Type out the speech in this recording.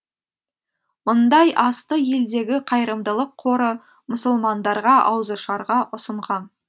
мұндай асты елдегі қайырымдылық қоры мұсылмандарға ауызашарға ұсынған